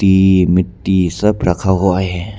ये मिट्टी सब रखा हुआ है।